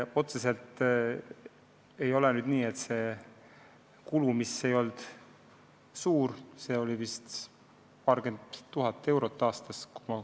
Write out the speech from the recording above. Otseselt oli see kulu, kui ma suurusjärku õigesti mäletan, paarkümmend tuhat eurot aastas.